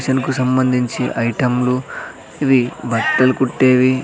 మిషన్కు సంబందించి ఐటమ్ లు ఇవి బట్టలు కుట్టేవి.